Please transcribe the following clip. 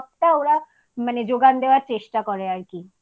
সবটা ওরা মানে যোগান দেওয়ার চেষ্টা করে আর কি তো